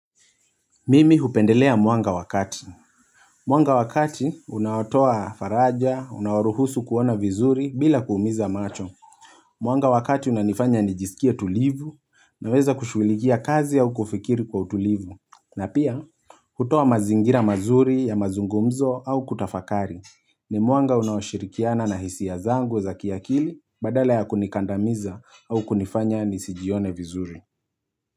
Mimi hupendelea mwanga wakati. Mwanga wakati, unawotoa faraja, unawaruhusu kuona vizuri bila kuumiza macho. Mwanga wa kati, unanifanya nijisikie tulivu naweza kushulikia kazi au kufikiri kwa utulivu. Na pia, hutua mazingira mazuri ya mazungumzo au kutafakari. Ni mwanga unawashirikiana na hisi ya zangu za kiakili badala ya kunikandamiza au kunifanya nisijione vizuri.